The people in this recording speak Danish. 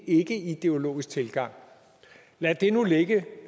ikkeideologisk tilgang lad det nu ligge